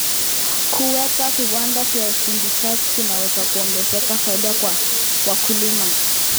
Kuweka viwanda vya usindikaji kunaweza kuongeza faida kwa wakulima.